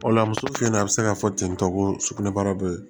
O la muso filɛ nin ye a bɛ se ka fɔ ten tɔ ko sugunɛbara bɛ yen